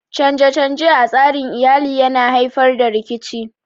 Canje-canje a tsarin Iyali yana haifar da rikici